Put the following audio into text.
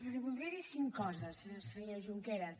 li voldria dir cinc coses senyor junqueras